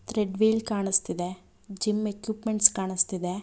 ಥ್ರೀಲ್ದವೀಲ್ ಕಾಣುಸ್ತಿದೆ gym equipments ಕಾಣಿಸ್ತಿದೆ.